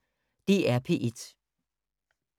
DR P1